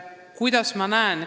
Kuidas ma seda näen?